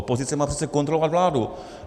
Opozice má přece kontrolovat vládu.